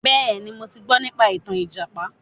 Bẹ́ẹ̀ni, mo ti gbọ nípa ìtàn ìjàpá.